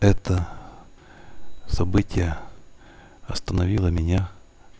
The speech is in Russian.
это событие остановило меня